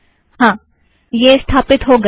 हाँ - यह स्थापिथ्त हो गया